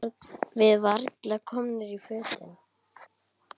Við varla komnar í fötin.